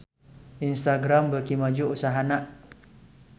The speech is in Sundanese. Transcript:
Instagram beuki maju usahana